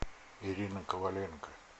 ирина коваленко